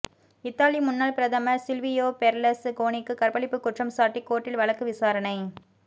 Italy முன்னாள் பிரதமர் Silvio பெர்லஸ் கோனிக்கு கற்பழிப்பு குற்றம் சாட்டி கோர்ட்டில் வழக்கு விசாரணை